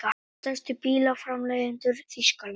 Stærstu bílaframleiðendur Þýskalands.